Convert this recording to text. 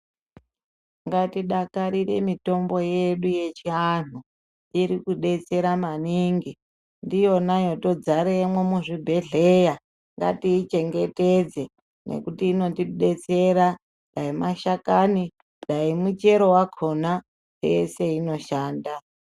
Ngatidakarire mitombo yedu yechiantu. Iri kudetsera maningi. Ndiyona yatodzaremwo muzvibhedhlera. Ngatiichengete ngekuti inotidetsera dai mashakani dai muchero wakhona yeshe inoshanda.